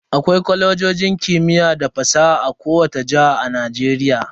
Akwai Kwalejojin kimiyya da fasaha a kowani jihar Najeriya.